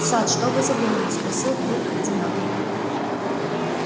сатт что вы задумали спросил вдруг кардинал